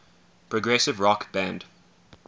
progressive rock band